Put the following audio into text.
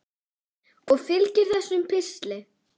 Og fylgir þessum pistli.